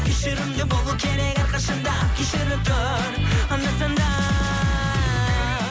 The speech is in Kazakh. кешірімді болу керек әрқашанда кешіріп тұр анда санда